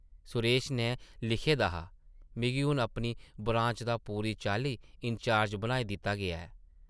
सुरेश नै लिखे दा हा, मिगी हून अपनी ब्रांच दा पूरी चाल्ली इंचार्ज बनाई दित्ता गेआ ऐ ।